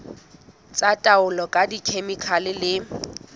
tsa taolo ka dikhemikhale le